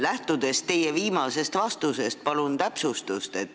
Lähtudes teie viimasest vastusest, palun täpsustust.